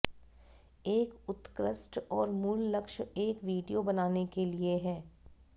एक उत्कृष्ट और मूल लक्ष्य एक वीडियो बनाने के लिए है